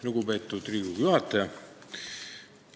Lugupeetud Riigikogu juhataja!